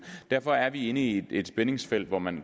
derfor er vi inde i et spændingsfelt hvor man